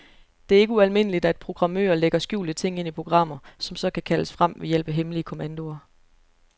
Det er ikke ualmindeligt, at programmører lægger skjulte ting ind i programmer, som så kan kaldes frem ved hjælp af hemmelige kommandoer.